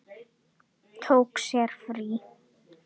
Tók sér frí.